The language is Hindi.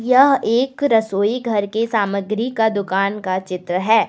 यह एक रसोई घर के सामग्री का दुकान का चित्र है।